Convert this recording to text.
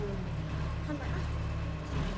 Hann var ekkert að flýta sér.